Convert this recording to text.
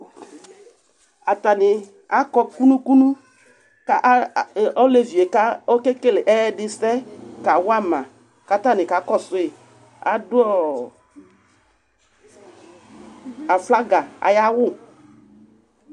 Atani akɔ kunu kunu ka a, olevi yɛ okewele ɛyɛdi sɛ kawa ma, k'atani ka kɔsʋ yi Adʋ aflaga ayʋ awʋ